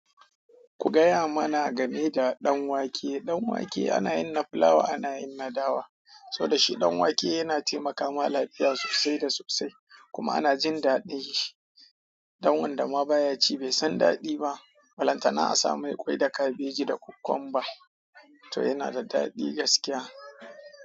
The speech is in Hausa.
Ku gaya mana game da ɗanwake. Ɗanwake ana yin na fulawa, ana yin na dawa. Soda shi ɗanwake yana taimaka ma lafiya sosai da sosai, kuma ana jin daɗin shi. Don wanda ma baya ci bai san daɗin ba. Balantana a sa mai ƙwai da kabeji da kokwamba. To yana da daɗi gaskiya.